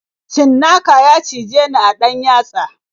Cinnaka ya cijeni a ɗan yatsa.